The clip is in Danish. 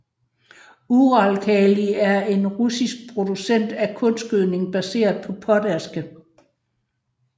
Uralkali er en russisk producent af kunstgødning baseret på potaske